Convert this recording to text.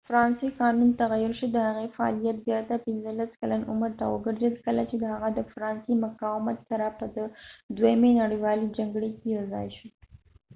فرانسوي قانون تغیر شو د هغې فعالیت بیرته 15 کلن عمر ته وګرځید کله چې هغه د فرانسې مقاومت سره په دوهمې نړیوالې جګړې کې یوځاې شو